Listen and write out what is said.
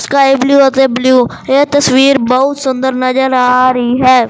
Sky blue ਅਤੇ blue ਇਹ ਤਸਵੀਰ ਬਹੁਤ ਸੁੰਦਰ ਨਜ਼ਰ ਆ ਰਹੀ ਹੈ।